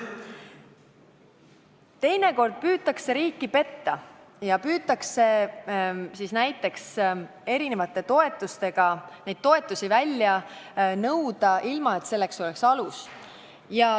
Teinekord püütakse riiki petta ja püütakse toetusi välja nõuda, ilma et selleks oleks alust.